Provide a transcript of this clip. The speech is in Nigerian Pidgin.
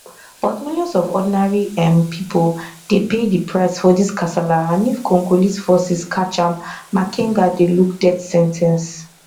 but millions of ordinary um pipo dey pay di price for dis kasala and if congolese forces catch am makenga dey look death sen ten ce